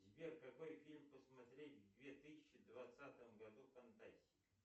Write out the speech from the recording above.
сбер какой фильм посмотреть в две тысячи двадцатом году фантастика